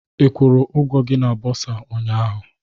Ị kwụrụ ụgwọ gị na bursar ụnyaahụ?